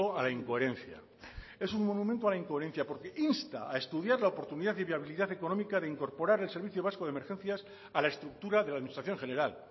a la incoherencia es un monumento a la incoherencia porque insta a estudiar la oportunidad y viabilidad económica de incorporar el servicio vasco de emergencias a la estructura de la administración general